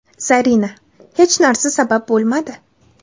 Zarina: Hech narsa sabab bo‘lmadi.